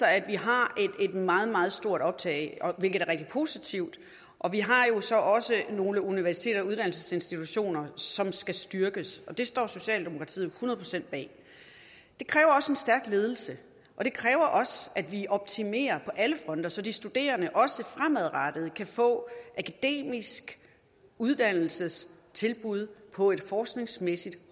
at vi har et meget meget stort optag hvilket er rigtig positivt og vi har jo så også nogle universiteter og uddannelsesinstitutioner som skal styrkes det står socialdemokratiet hundrede procent bag det kræver en stærk ledelse og det kræver også at vi optimerer på alle fronter så de studerende også fremadrettet kan få akademiske uddannelsestilbud på et forskningsmæssigt